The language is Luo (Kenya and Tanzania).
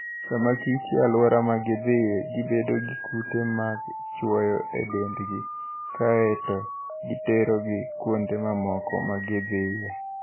Sama kich e alwora ma gidhiye, gibedo gi kute mag chwoyo e dendgi, kae to giterogi kuonde mamoko ma gidhiye.